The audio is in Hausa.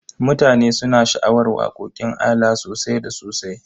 Mutane suna sha'awar waƙoƙin ALA sosai da sosai.